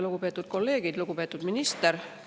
Lugupeetud minister!